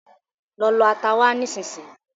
Lọ lọ ata wá nisínsinyí